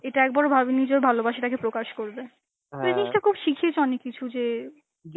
এটা একবারও ভাবেনি যে ওর ভালোবাসা তাকে প্রকাশ করবে, এই জিনিসটা খুব শিখিয়েছে অনেক কিছু যে